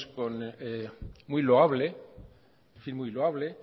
fin muy loable